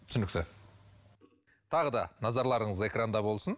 түсінікті тағы да назарларыңыз экранда болсын